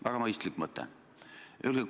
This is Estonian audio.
Väga mõistlik mõte!